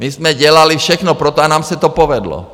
My jsme dělali všechno pro to, a nám se to povedlo.